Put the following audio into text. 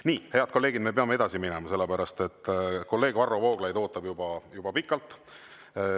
Nii, head kolleegid, me peame edasi minema, sellepärast et kolleeg Varro Vooglaid ootab juba pikalt.